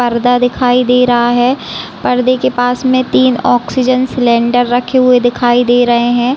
पर्दा दिखाई दे रहा है पर्दे के पास में तीन ऑक्सीजन सिलेंडर रखे दिखाई दे रहे है।